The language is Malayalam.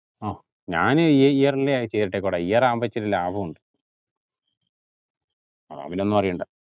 ആ ഞാൻ ഈ year ലി ചെയ്തിട്ടെക്‌വാട year ആകുമ്പോ ഇച്ചിരി ലാഭോണ്ട് അതാവുമ്പോ പിന്നാ ഒന്നു അറിയണ്ടാ